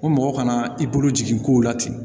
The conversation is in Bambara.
Ko mɔgɔ kana i bolo jigin ko la ten